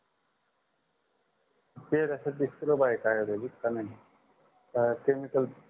ते का नाही अ chemical